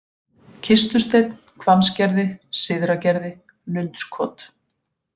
Kistusteinn, Hvammsgerði, Syðra-Gerði, Lundskot